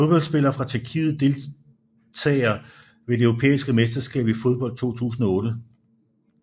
Fodboldspillere fra Tjekkiet Deltagere ved det europæiske mesterskab i fodbold 2008